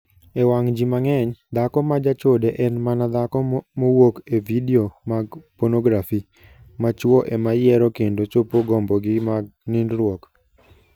E wang' ji mang'eny, dhako ma jachode en mana dhako mowuok e vidio mag ponografi, ma chwo ema yiero kendo chopo gombogi mag nindruok.